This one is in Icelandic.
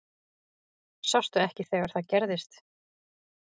Sástu ekki þegar það gerðist?